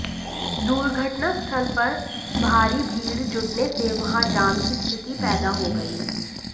दुर्घटना स्थल पर भारी भीड़ जुटने से वहां जाम की स्थिति पैदा हो गई